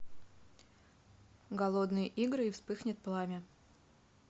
голодные игры и вспыхнет пламя